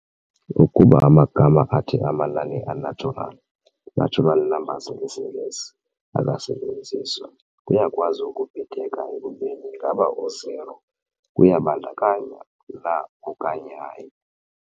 Ukuba amagama athi "amanani a-natural" "natural numbers" ngesiNgesi, akasetyenziswa, kuyakwazi ukubhideka ekubeni ingaba u-0 uyabandakanya na okanye hayi.